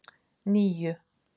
níu